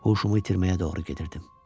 Huşumu itirməyə doğru gedirdim.